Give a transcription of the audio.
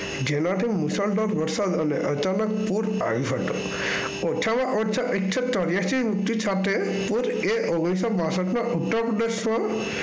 જેનાથી મુશળધાર વરસાદ અને અચાનક ઓછામાં ઓછા એકસો ચોર્યાંશી સાથે ઓગણીસો બાસાઠમાં ઉત્તરપ્રદેશમાં